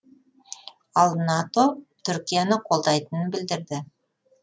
ал нато түркияны қолдайтынын білдірді